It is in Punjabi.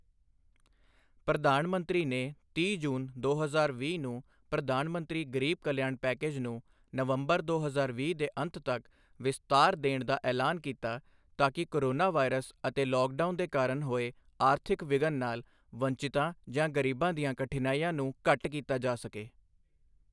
ਪ੍ਰਧਾਨ ਮੰਤਰੀ ਨੇ ਤੀਹ ਜੂਨ, ਦੋ ਹਜ਼ਾਰ ਵੀਹ ਨੂੰ ਪ੍ਰਧਾਨ ਮੰਤਰੀ ਗ਼ਰੀਬ ਕਲਿਆਣ ਪੈਕੇਜ ਨੂੰ ਨਵੰਬਰ, ਦੋ ਹਜ਼ਾਰ ਵੀਹ ਦੇ ਅੰਤ ਤੱਕ ਵਿਸਤਾਰ ਦੇਣ ਦਾ ਐਲਾਨ ਕੀਤਾ ਤਾਕਿ ਕੋਰੋਨਾ ਵਾਇਰਸ ਅਤੇ ਲੌਕਡਾਊਨ ਦੇ ਕਾਰਨ ਹੋਏ ਆਰਥਿਕ ਵਿਘਨ ਨਾਲ ਵੰਚਿਤਾਂ ਜਾਂ ਗ਼ਰੀਬਾਂ ਦੀਆਂ ਕਠਿਨਾਇਆਂ ਨੂੰ ਘੱਟ ਕੀਤਾ ਜਾ ਸਕੇ।